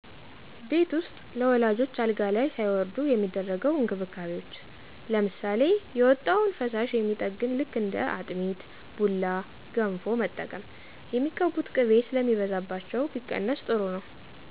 ቤት ዉስጥ ለወላጆች አልጋ ላይ ሳይወርዱ የሚደረገው እንክብካቤዎች። ለምሳሌ የወጣውን ፈሳሽ የሚጠግን ልክ እንደ አጥሚት፣ ቡላ፣ ገንፎ መጠቀም። የሚቀቡት ቅቤ ስለሚበዛባቸው ቢቀነስ ጥሩ ነዉ።